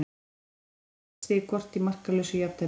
Liðin sættust á eitt stig hvort í markalausu jafntefli.